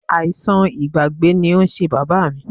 Àìsàn ìgbàgbé ni ó ń ṣe Bàbá mi.